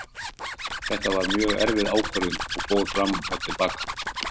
Þetta var mjög erfið ákvörðun og fór fram og til baka.